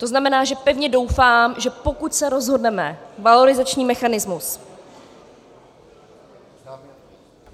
To znamená, že pevně doufám, že pokud se rozhodneme valorizační mechanismus...